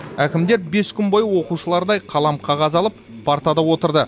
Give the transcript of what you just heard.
әкімдер бес күн бойы оқушылардай қалам қағаз алып партада отырды